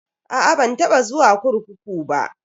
A'a ban taba zuwa kurkuku ba.